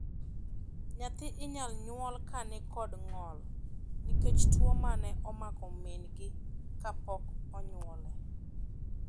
Nyathi inyal nyuol ka ni kod ng'ol nikech tuo mane omako min gi kapok onyuol.